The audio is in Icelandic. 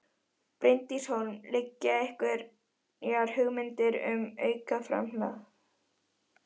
Bryndís Hólm: Liggja fyrir einhverjar hugmyndir um aukið framlag?